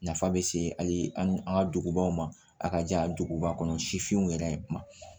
Nafa bɛ se hali an ka dugubaw ma a ka jan duguba kɔnɔ sifinw yɛrɛ ma